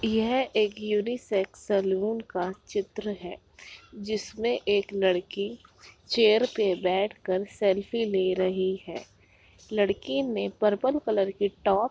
यह एक unisex salon का चित्र है जिसमें एक लड़की चेयर पर बैठ कर सेल्फी ले रही है लड़की ने पर्पल कलर की टॉप --